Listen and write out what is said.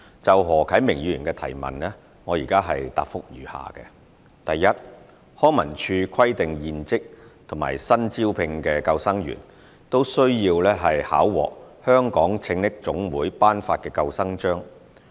就何啟明議員的質詢，我現答覆如下：一康文署規定現職及新招聘的救生員均需考獲香港拯溺總會頒發的救生章。